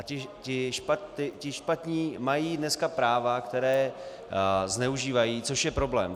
A ti špatní mají dneska práva, která zneužívají, což je problém.